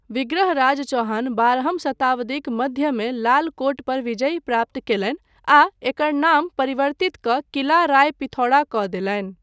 विग्रहराज चौहान बारहम शताब्दीक मध्यमे लाल कोट पर विजय प्राप्त कयलनि आ एकर नाम परिवर्तित कऽ किला राय पिथौरा कऽ देलनि।